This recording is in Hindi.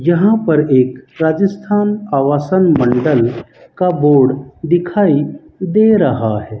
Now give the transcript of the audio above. यहां पर एक राजस्थान आवासन मंडल का बोर्ड दिखाई दे रहा है।